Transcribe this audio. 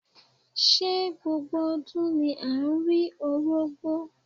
Ṣé gbogbo ọdún ni à ń rí Orógbó?